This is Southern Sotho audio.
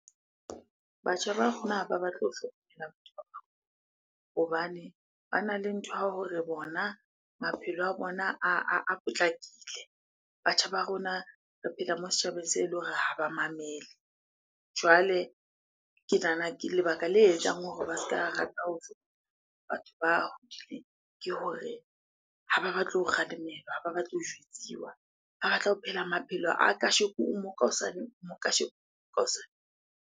Batjha ba rona ha ba batle ho hlokomela batho ba hobane bana le ntho ya hore bona maphelo a bona a potlakile. Batjha ba rona re phela moo setjhabeng se eleng hore ha ba mamele. Jwale ke nahana ke, lebaka le etsang hore ba se ka rata ho batho ba hodileng ke hore ha ba batle ho kgalemelwa, ha ba batle ho jwetsiwa. Ba batla ho phela maphelo a kasheko o mo, ka hosane o mo, kasheko, ka hosane.